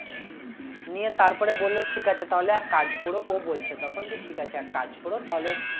নিয়ে তারপরে বললো ঠিক আছে তাহলে এক কাজ করো ও বলছে তখন যে ঠিক আছে এক কাজ করো তাহলে